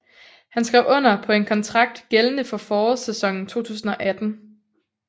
Han skrev under på en kontrakt gældende for forårssæsonen 2018